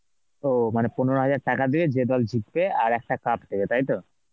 ওহ, মানে পনেরো হাজার দিয়ে যে দল জিতবে আর একটা cup দেবে তাই তো?